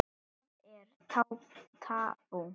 Það er tabú.